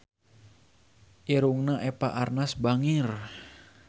Irungna Eva Arnaz bangir